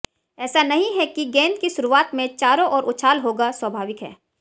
ऐसा नहीं है कि गेंद की शुरुआत में चारों ओर उछाल होगा स्वाभाविक है